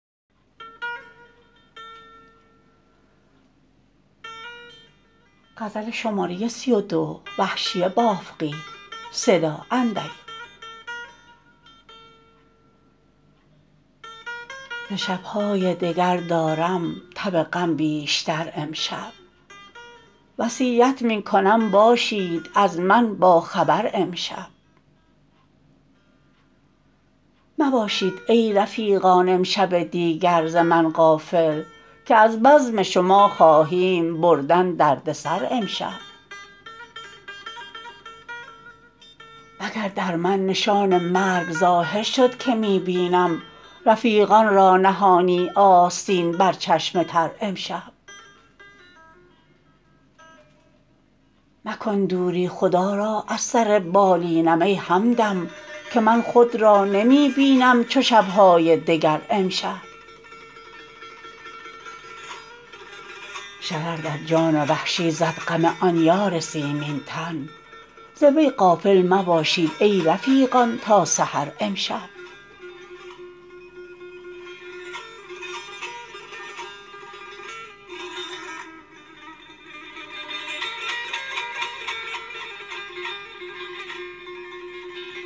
ز شبهای دگر دارم تب غم بیشتر امشب وصیت می کنم باشید از من با خبر امشب مباشید ای رفیقان امشب دیگر ز من غافل که از بزم شما خواهیم بردن درد سر امشب مگر در من نشان مرگ ظاهر شد که می بینم رفیقان را نهانی آستین بر چشم تر امشب مکن دوری خدا را از سر بالینم ای همدم که من خود را نمی بینم چو شبهای دگر امشب شرر در جان وحشی زد غم آن یار سیمین تن ز وی غافل مباشید ای رفیقان تا سحر امشب